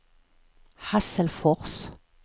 Hasselfors